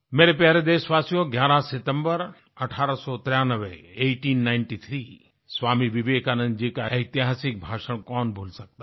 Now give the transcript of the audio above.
मेरे प्यारे देशवासियो 11 सितम्बर 1893 eighteen ninety three Swami Vivekananda ji का ऐतिहासिक भाषण कौन भूल सकता है